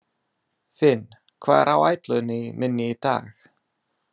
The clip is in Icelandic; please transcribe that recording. Finn, hvað er á áætluninni minni í dag?